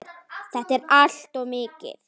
Þetta er allt of mikið!